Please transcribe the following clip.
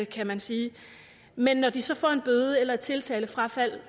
kan man sige men når de så får en bøde eller et tiltalefrafald